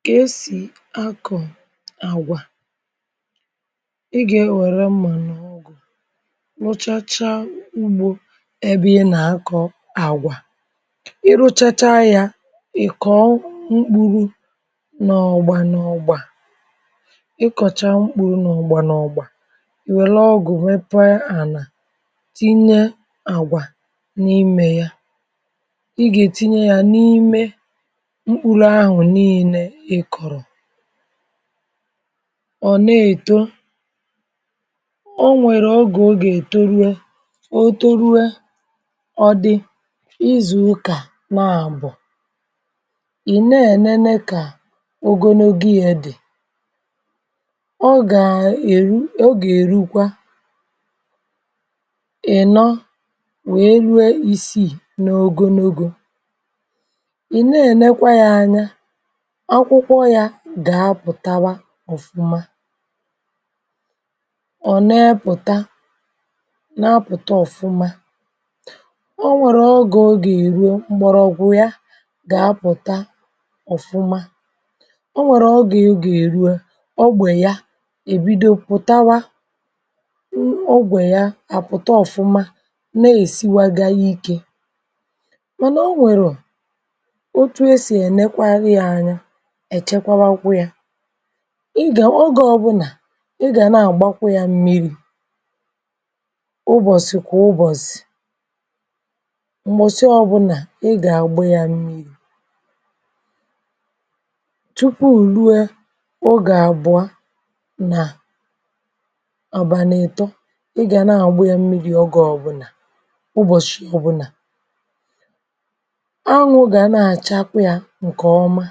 Ǹkè èsì akọ̀ àgwà — ị gà-ewère mmà n’ọgwụ̀, rụchacha ugbȯ ebe ị nà-akọ̇ àgwà. um Ị rụchacha yȧ, ị̀ kọ̀ọ mkpụrụ n’ọgwụ̀ a. N’ọgwụ̀ a, ị kọ̀cha mkpụrụ, um n’ọgwụ̀ a, ì wère ọgụ̀ mepe ànà, tinye àgwà n’imė ya. Mkpụrụ ahụ̀ niilė ị kọ̀rọ̀, ọ̀ na-èto, um o nwèrè ogè ọ gà-ètorue. O torue, ọ dị̇ izù ụkà n’àbọ̀, ị̀ na-ènene kà ogologo ya dị̀. Ọ gà-èru, um o gà-èrukwa. Ị̀ nọ wèe rue isiì n’ogologo, ị̀ nẹẹ̀ nẹkwa yȧ anya akwụkwọ, yȧ gà-apụ̀tawa ọ̀fụma. Ọ̀ neẹ pụ̀ta, na-apụ̀ta ọ̀fụma, o nwẹ̀rẹ̀ ọgị̀, o gà-èruo m̀gbọ̀rọ̀gwụ. Yȧ gà-apụ̀ta ọ̀fụma, um o nwèrè ọgẹ̀, o gà-èruo ọgbè ya, èbido pụ̀tawa ọgwè ya, àpụ̀ta ọ̀fụma na èsìwagȧ ikė. Mànà o nwèrè etu e sì ènekwara ya anya, èchekwakwụ ya. Ị gà—ọ gà—ọbụnà ị gà na-àgbakwụ ya mmiri̇, um ụbọ̀sị̀ kwà ụbọ̀sị̀, m̀gbọ̀sị ọ bụlà, ị gà-àgba ya mmiri̇ tupuù rue ọ gà-àbụa nà ọ̀bànàètȯ. Ị gà na-àgba ya mmiri̇, ọ gà-ọba ụbọ̀sị̀ ọ bụlà ǹkè ọma, um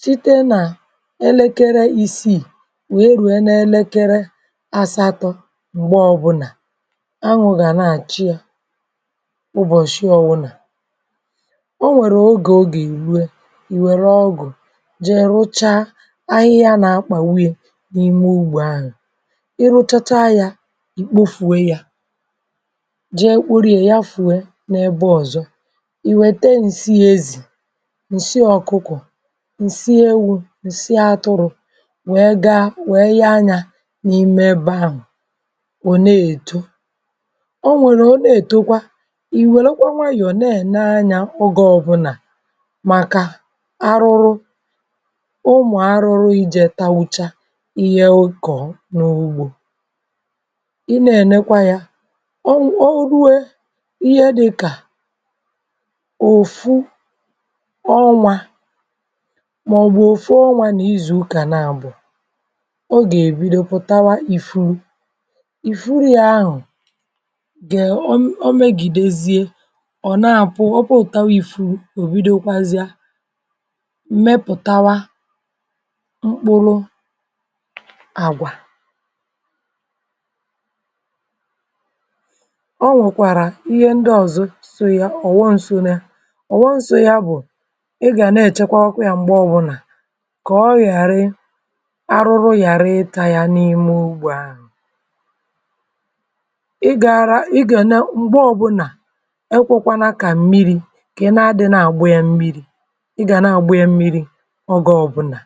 site nà elekere isii wèe rùo n’elekere àsatọ̇, m̀gbe ọbụlà anwụ̇ gà na-àchị yȧ. Ụbọ̀sị ọwụlà, o nwèrè ogè, o gà-èruė, ìwèrè ọgụ̀ jee rụcha ahịhịa nà-akpà uye n’ime ugbȯ ahụ̀. Ị rụchacha yȧ, ìkpo fùwe yȧ, um jee kpurìè ya fùwe nȧ-ebe ọ̀zọ — ǹsi ọ̀kụkọ̀, ǹsi ewu̇, ǹsi atụrụ̇ — wèe gaa wèe ya anyȧ. N’ime ebe ahụ̀, wèe ne-èto, o nwèrè, o na-èto kwa, ìwèlekwa nwayọ̀, um na-ènene anyȧ oge ọ̇bụ̇nà. Màkà arụrụ ụmụ̀ arụrụ, ị jèe tawucha ihe okò n’ugbȯ, ị na-ènekwa ya. O ruwe ihe dịkà ọnwȧ màọ̀bù òfu ọnwȧ nà izù ụkà n’àbù, o gà-èbido pụ̀tawa. Ị fù, ị furu yȧ, um ahù gà-ème omegìdezie, ò naàpụ, òtawa. Ị fù, ò bido kwazịa mmepùtawa mkpụrụ àgwà. Ị gà na-èchèkwa ọkụ̇ yȧ m̀gbe ọbụnà, um kà ọ ghàrị arụrụ, ghàrị ịtȧ yȧ n’ime ugbua ahụ̀. Ị gàara, ị gàne, m̀gbe ọbụnà, ekwėkwana kà mmịrị̇ kà ị na-àgbu yȧ mmịrị̇, ị gà na-àgbu yȧ mmịrị̇, ọ gị ọbụnà.